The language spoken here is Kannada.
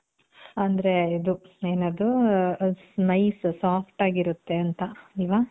ಅಂದ್ರೆ ಇದು ಏನದು nice soft ಆಗಿ ಇರುತ್ತೆ ಅಂತ ಅಲ್ವ?